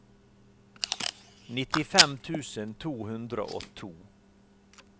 nittifem tusen to hundre og to